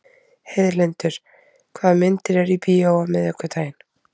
Heiðlindur, hvaða myndir eru í bíó á miðvikudaginn?